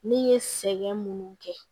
Ne ye sɛgɛn minnu kɛ